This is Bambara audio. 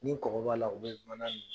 Ni kɔgɔ b'a la u bɛ mana in dun.